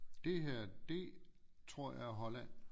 Det her det tror jeg er Holland